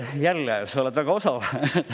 Jälle, sa oled väga osav!